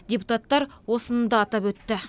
депутаттар осыны да атап өтті